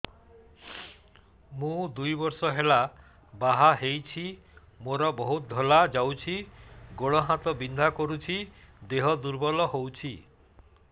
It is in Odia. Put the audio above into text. ମୁ ଦୁଇ ବର୍ଷ ହେଲା ବାହା ହେଇଛି ମୋର ବହୁତ ଧଳା ଯାଉଛି ଗୋଡ଼ ହାତ ବିନ୍ଧା କରୁଛି ଦେହ ଦୁର୍ବଳ ହଉଛି